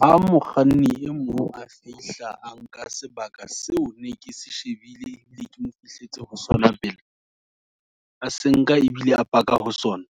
Ha mokganni e mong a fihla, a nka sebaka seo, ne ke se shebile, ebile ke mo fihletse ho sona pele, a se nka ebile a paka ho sona.